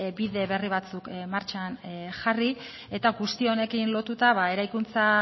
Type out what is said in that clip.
bide berri batzuk martxan jarri eta guzti honekin lotuta eraikuntza